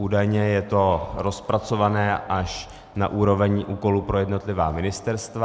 Údajně je to rozpracované až na úroveň úkolů pro jednotlivá ministerstva.